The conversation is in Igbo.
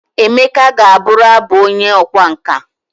Emeka gaburu Abu onye okwa nka.